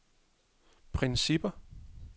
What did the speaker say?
principper